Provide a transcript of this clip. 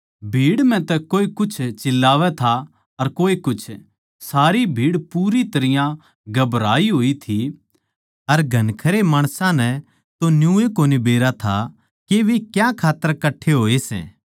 भीड़ म्ह तै कोए कुछ चिल्लावै था अर कोए कुछ सारी भीड़ पूरी तरियां घबराई होई थी अर घणखरे माणसां नै तो न्यूए कोनी जाणै थे के वे क्यां खात्तर कट्ठे होए सै